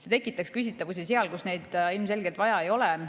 See tekitaks küsitavust seal, kus seda ilmselgelt vaja ei ole.